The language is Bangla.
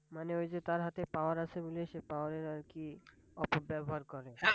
মানে ওই যে তার হাতে Power আছে বলে সে Power এর আর কি অপব্যবহার করে।